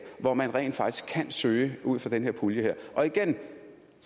hvor man rent faktisk kan søge ud af den her pulje og igen